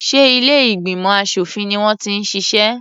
Ṣé ilé ìgbìmọ̀ aṣòfin ni wọ́n ti ń ṣiṣẹ́?